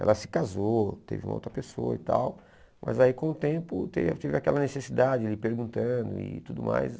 Ela se casou, teve uma outra pessoa e tal, mas aí com o tempo teve tive aquela necessidade, perguntando e tudo mais.